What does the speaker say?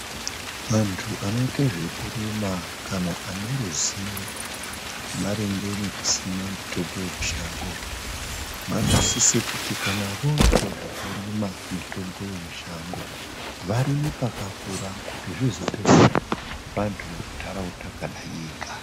Vantu anoite zvekurima kana ane ruzivo maringe nekusima mitombo yemushango, vanosise kuti kana voite zvekurima mitombo yemushango, varime pakakura kuti zvizodetsera vantu vemuntaraunda kana nyika.